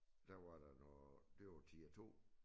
Der var noget det var tier 2